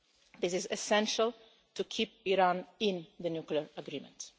This is essential to keep Iran in the nuclear agreement.